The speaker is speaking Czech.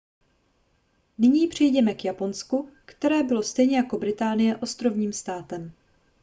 nyní přejděme k japonsku které bylo stejně jako británie ostrovním státem